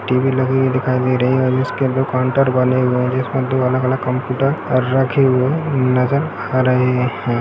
TV लगी हुई दिखाई दे रही है और उसके अंदर काउंटर बने हुए है जिसमें दो अलग-अलग कंप्यूटर और रखे हुए नजर आ रहे है।